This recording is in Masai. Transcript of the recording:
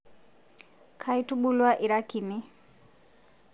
Kaitubulwua ira kini